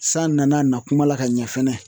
San nana a nakuma la ka ɲɛ fɛnɛ.